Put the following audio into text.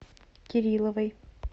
кирилловой